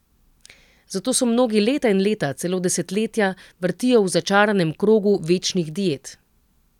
Zato se mnogi leta in leta, celo desetletja vrtijo v začaranem krogu večnih diet.